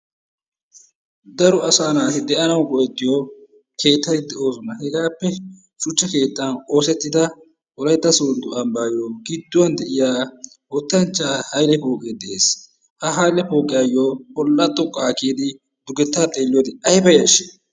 Daro asaa naati de"anawu go"ettiyo keettati de"oosona. Hegaappe shuchcha keettan oosettida wolaytta sooddo ambaayo gidduwan de'iya wottanchchaa Hayile pooqee des. Ha Hayile pooqiyaayoo bolla xoqqaa kiyidi dugetta xeelliyode ayiba yashshii?